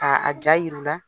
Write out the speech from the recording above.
A a ja yir'u la,